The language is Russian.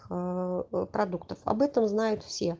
а продуктов об этом знают все